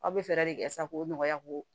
Aw bɛ fɛɛrɛ de kɛ sa k'o nɔgɔya ko